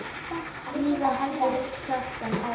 Síðan heldur Kjartan áfram